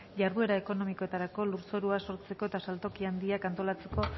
jarduera ekonomikoetarako lurzorua sortzeko eta saltoki handiak antolatzeko